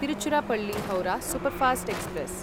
Tiruchirappalli Howrah superfast express